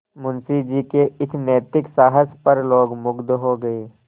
मुंशी जी के इस नैतिक साहस पर लोग मुगध हो गए